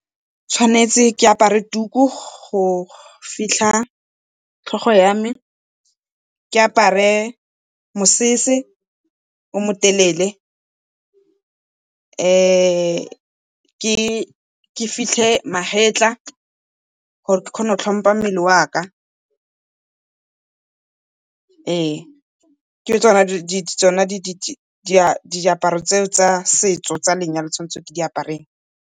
Ke tshwanetse ke apare tuku go fitlha tlhogo ya me, ke apare mosese o mo telele, ke fitlhe magetla gore ke kgone go tlhompha mmele wa ka, ke tsona diaparo tsa setso tsa lenyalo tse ke tshwanetseng ke di apare.